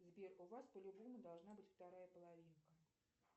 сбер у вас по любому должна быть вторая половинка